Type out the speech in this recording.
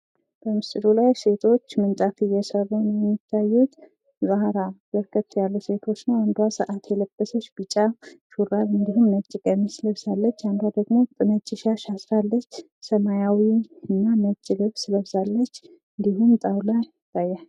በምስሉ ላይ ሴቶች ምንጣፍ እየሰሩ ነው የሚታየው። ከኋላ በርከት ያሉ ሴቶች አንዷ ሰዓት የለበሰች ቢጫ ሹራብ እንዲሁም ነጭ ቀሚስ ለብሳለች። አንዷ ደግሞ ነጭ ሻሽ አስራለች ሰማያዊ እና ነጭ ልብስ ለብሳለች። እንዲሁም ጣዉላ ይታያል ።